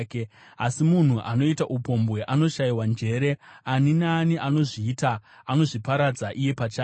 Asi munhu anoita upombwe, anoshayiwa njere; ani naani anozviita anozviparadza iye pachake.